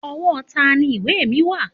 Ọwọ́ tani ìwé mi wà?